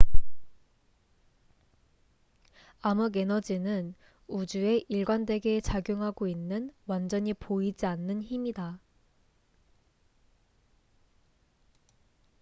암흑에너지는 우주에 일관되게 작용하고 있는 완전히 보이지 않는 힘이다